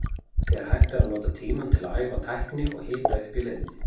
Þegar hægt er að nota tímann til að æfa tækni og hita upp í leiðinni.